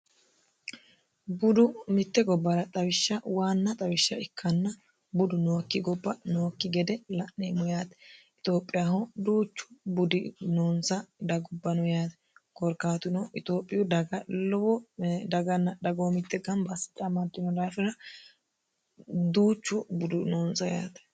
budu mitte gobbara xawishsha waanna xawishsha ikkanna budu nookki gobba nookki gede la'neemmo yaate itiophiyaho duuchu budi noonsa dagubbano yaate koorkaatuno itiophiyu daga lowodaganna dhagoo mitte gamba assidhanni dafira duuchu budu noonsa yaate